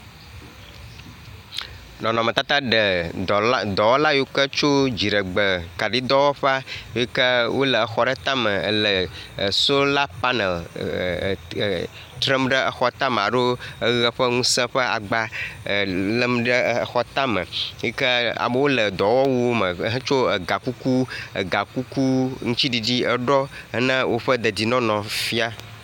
Nɔnɔmetata ɖe dɔwɔla yiwo ke tso dziɖegbe kaɖidɔwɔƒea le exɔ tame le sola panel trem ɖe eɔx tame alo eʋe ƒe ŋusẽ ƒe agba lem ɖe exɔ tame yi ke amewo le dɔwɔwuwo me hetso egakuku aŋuti ɖiɖiwo ɖɔ yi ke le woƒe deɖienɔnɔ fia